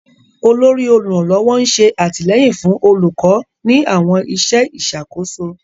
Olórí oluranlọwọ n ṣe atilẹyin fun olukọ ni awọn iṣẹ iṣakoso.